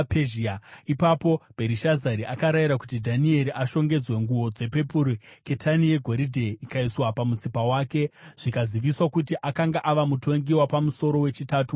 Ipapo Bherishazari akarayira kuti Dhanieri ashongedzwe nguo dzepepuru, ketani yegoridhe ikaiswa pamutsipa wake, zvikaziviswa kuti akanga ava mutongi wapamusoro wechitatu muumambo.